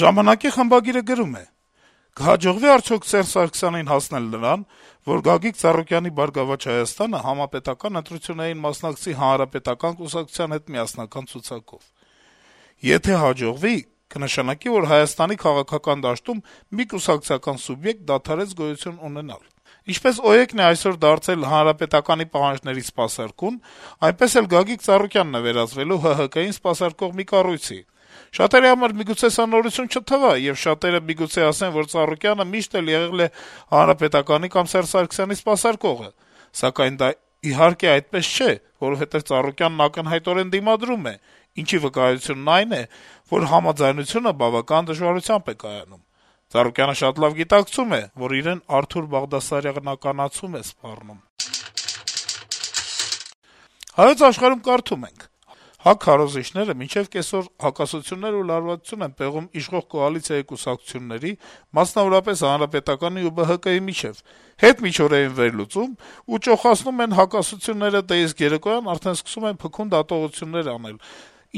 «Ժամանակ»-ի խմբագիրը գրում է. - «Կհաջողվի՞ արդյոք Սերժ Սարգսյանին հասնել նրան, որ Գագիկ Ծառուկյանի «Բարգավաճ Հայաստան»-ը համապետական ընտրություններին մասնակցի Հանրապետական կուսակցության հետ միասնական ցուցակով: Եթե հաջողվի՝ կնշանակի, որ Հայաստանի քաղաքական դաշտում մի կուսակցական սուբյեկտ դադարեց գոյություն ունենալ: Ինչպես «Օրինաց երկիր»-ն է այսօր դարձել ՀՀԿ պահանջների սպասարկուն, այդպես էլ Գագիկ Ծառուկյանն է վերածվելու ՀՀԿ-ին սպասարկող մի կառույցի: Շատերի համար միգուցե սա նորություն չթվա, եւ շատերը միգուցե ասեն, որ Ծառուկյանը միշտ էլ եղել է ՀՀԿ-ին կամ Սերժ Սարգսյանին սպասարկողը, սակայն դա, իհարկե, այդպես չէ, որովհետեւ Ծառուկյանն ակնհայտորեն դիմադրում է, ինչի վկայությունն այն է, որ համաձայնությունը բավական դժվարությամբ է կայանում: Ծառուկյանը շատ լավ գիտակցում է, որ իրեն արթուրբաղդասարյանացում է սպառնում»: «Հայոց Աշխարհ»-ում կարդում ենք. - «ՀԱԿ քարոզիչները մինչեւ կեսօր «հակասություններ» ու «լարվածություն» են պեղում իշող կոալիցիայի կուսակցությունների, մասնավորապես ՀՀԿ-ի ու ԲՀԿ-ի միջեւ, հետմիջօրեին «վերլուծում» ու ճոխացնում են «հակասությունները», դե, իսկ երեկոյան արդեն սկսում են փքուն դատողություններ անել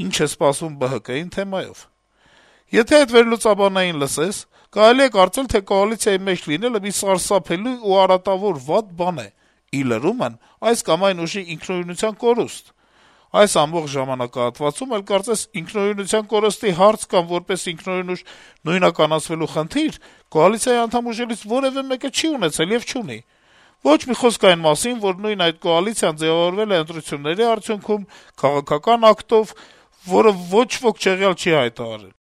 «ինչ է սպասվում ԲՀԿ-ին, եթե...» թեմայով։ Եթե այդ վերլուծիչներին լսես, կարելի է կարծել, թե կոալիցիայի մեջ լինելը մի սարսափելի ու արատավոր, վատ բան է, ի լրումն՝ այս կամ այն ուժի ինքնուրույնության կորուստ։ Այս ամբողջ ժամանակահատվածում էլ կարծես ինքնուրույնության կորստի հարց կամ որպես ինքնուրույն ուժ նույնականացվելու խնդիր կոալիցիայի անդամ ուժերից որեւէ մեկը չի ունեցել եւ չունի էլ։ Ոչ մի խոսք այն մասին, որ նույն այդ կոալիցիան ձեւավորվել է ընտրությունների արդյունքում, քաղաքական ակտով, որը ոչ ոք չեղյալ չի հայտարարել»։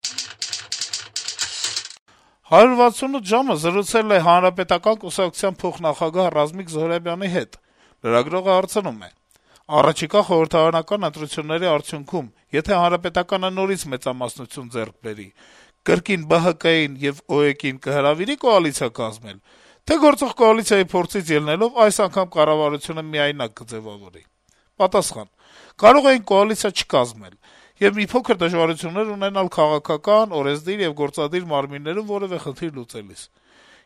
«168 ժամ»-ը զրուցել է Հանրապետական կուսակցության փոխնախագահ Ռազմիկ Զոհրաբյանի հետ: Լրագրողը հարցնում է. - «Առաջիկա խորհրդարանական ընտրությունների արդյունքում եթե ՀՀԿ-ն նորից մեծամասնություն ձեռք բերի, կրկին ԲՀԿ-ին ու ՕԵԿ-ին կհրավիր՞ի կոալիցիա կազմել: Թե՞ գործող կոալիցիայի փորձից ելնելով` այս անգամ կառավարությունը միայնակ կձեւավորի»: Պատասխան. - «Կարող էինք կոալիցիա չկազմել, եւ մի փոքր դժվարություններ ունենալ քաղաքական, օրենսդիր եւ գործադիր մարմիններում որեւէ խնդիր լուծելիս: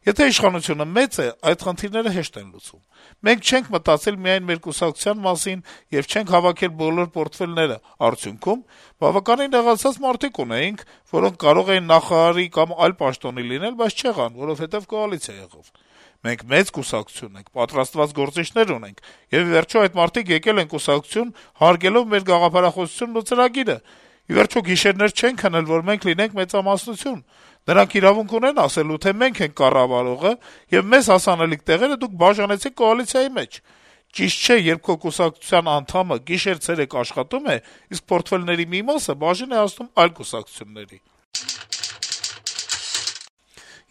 Եթե իշխանությունը մեծ է, այդ խնդիրները հեշտ են լուծվում: Մենք չենք մտածել միայն մեր կուսակցության մասին եւ չենք հավաքել բոլոր պորտֆելները: Արդյունքում` բավականին նեղացած մարդիկ ունեինք, որոնք կարող էին նախարարի կամ այլ պաշտոնի լինել, բայց չեղան, որովհետեւ կոալիցիա եղավ: Մենք մեծ կուսակցություն ենք, պատրաստված գործիչներ ունենք, եւ, ի վերջո, այդ մարդիկ եկել են կուսակցություն` հարգելով մեր գաղափարախոսությունն ու ծրագիրը: Ի վերջո, գիշերներ չեն քնել, որ մենք լինենք մեծամասնություն: Նրանք իրավունք ունեն ասել, թե մենք ենք կառավարողը, եւ մեզ հասանելիք տեղերը դուք բաժանեցիք կոալիցիայի մեջ: Ճիշտ չէ, երբ քո կուսակցության անդամը գիշեր-ցերեկ աշխատում է, իսկ պորտֆելների մի մասը բաժին է հասնում այլ կուսակցությունների»: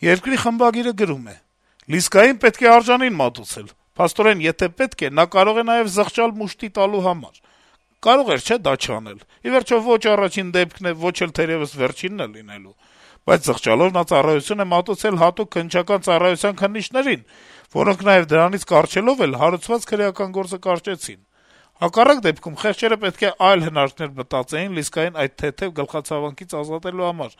«Երկիր» թերթի խմբագիրը գրում է. - «Լիսկային պետք է արժանին մատուցել. փաստորեն, եթե պետք է, նա կարող է նաեւ զղջալ «մուշտի տալու» համար: Կարող էր չէ՞ դա չանել, ի վերջո, ո՛չ առաջին դեպքն է, ո՛չ էլ, թերեւս, վերջինն է լինելու: Բայց զղջալով` նա ծառայություն է մատուցել հատուկ քննչական ծառայության քննիչներին, որոնք, նաեւ դրանից կառչելով, հարուցված քրեական գործը կարճեցին: Հակառակ դեպքում` խեղճերը պետք է այլ հնարքներ գտնեին Լիսկային այդ թեթեւ գլխացավանքից ազատելու համար,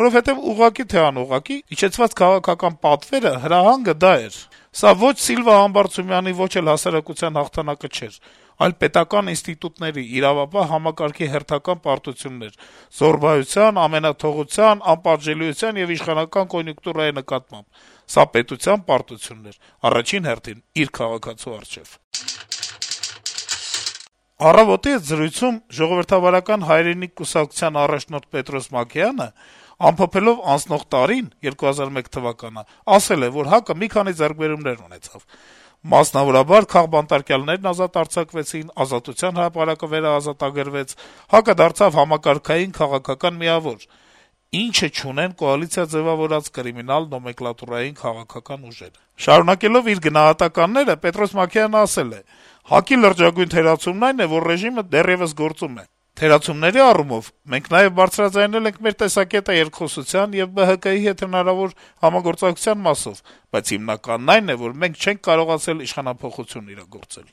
որովհետեւ, ուղղակի, թե անուղղակի, իջեցված քաղաքական պատվերը, հրահանգը դա էր: Սա ո՛չ Սիլվա Համբարձումյանի, ո՛չ էլ հասարակության հաղթանակը չէր, այլ պետական ինստիտուտների, իրավապահ համակարգի հերթական պարտությունն էր զոռբայության, ամենաթողության, անպատժելիության եւ իշխանական կոնյունկտուրայի նկատմամբ: Սա պետության պարտությունն էր, առաջին հերթին, իր քաղաքացու առջեւ»: «Առավոտ»-ի հետ զրույցում «Ժողովրդավարական հայրենիք» կուսակցության առաջնորդ Պետրոս Մակեյանը, ամփոփելով անցնող տարին` 2011 թվականը, ասել է, որ «ՀԱԿ-ը մի քանի ձեռքբերումներ ունեցավ». - «Մասնավորաբար, քաղբանտարկյալներն ազատ արձակվեցին, Ազատության հրապարակը վերաազատագրվեց, ՀԱԿ-ը դարձավ համակարգային քաղաքական միավոր, ինչը չունեն «կոալիցիա ձեւավորած կրիմինալ, նոմենկլատուրային քաղաքական ուժերը»: Շարունակելով իր գնահատականները` Մակեյանը ասել է. - «ՀԱԿ-ի լրջագույն թերացումն այն է, որ ռեժիմը դեռեւս գործում է: Թերացումների առումով մենք նաեւ բարձրաձայնել ենք մեր տեսակետը երկխոսության եւ ԲՀԿ-ի հետ հնարավոր համագործակցության մասով, բայց հիմնականն այն է, որ մենք չենք կարողացել իշխանափոխություն իրագործել»: